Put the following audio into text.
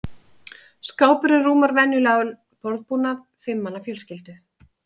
Skápurinn rúmar venjulegan borðbúnað fimm manna fjölskyldu.